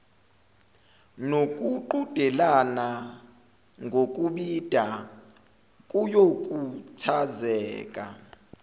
nokuqhudelana ngokubhida kuyokhuthazeka